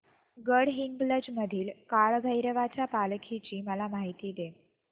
गडहिंग्लज मधील काळभैरवाच्या पालखीची मला माहिती दे